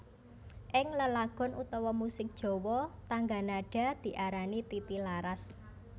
Ing lelagon utawa musik Jawa tangga nada diarani titi laras